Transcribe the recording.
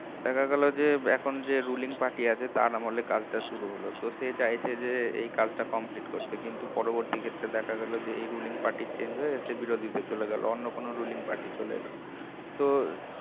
দেখা গেল যে এখন যে ruling party আছে তার আমলে কাজটা শুরু হলো তো সে চাইছে যে এই কাজটা complete করতে কিন্তু পরবর্তী ক্ষেত্রে দেখা গেল এই ruling party change হয়ে সে বিরোধীতে চোলে গেলো অন্য কোন ruling party চলে এলো